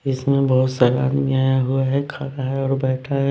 इसमें बहुत सारा आदमी आया हुआ है खा रहा है और बैठा है।